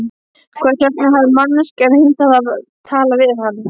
Hvers vegna hafði manneskjan heimtað að tala við hann?